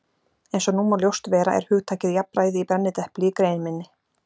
Eins og nú má ljóst vera er hugtakið jafnræði í brennidepli í grein minni.